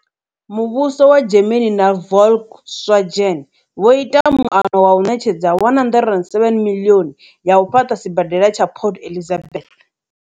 Muvhuso wa Germany na Volkswagen vho ita muano wa u ṋetshedza R107 miḽioni ya u fhaṱa sibadela tsha Port Elizabeth.